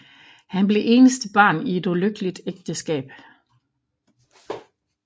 Han blev eneste barn i et ulykkeligt ægteskab